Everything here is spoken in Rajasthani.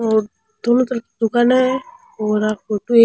और दोनों तरफ दुकाना है और आ फोटो एक --